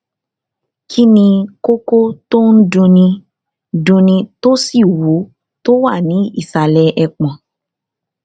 kí ni kókó tó ń dunni dunni tó sì wú tó wà ní ìsàlẹ ẹpọn